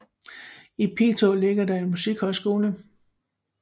I Piteå ligger der en musikhøjskole